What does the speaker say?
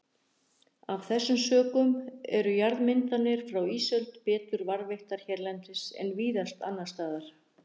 Af þessum sökum eru jarðmyndanir frá ísöld betur varðveittar hérlendis en víðast annars staðar.